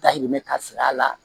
Dayirimɛ ka sir'a la